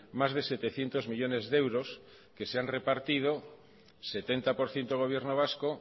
más de setecientos millónes de euros que se han repartido setenta por ciento gobierno vasco